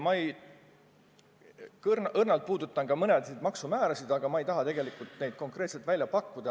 Õrnalt puudutan mõnesid maksumäärasid, aga ma ei taha neid konkreetselt välja pakkuda.